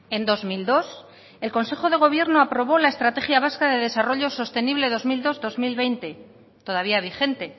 en dos mil dos el consejo de gobierno aprobó la estrategia vasca de desarrollo sostenible dos mil dos dos mil veinte todavía vigente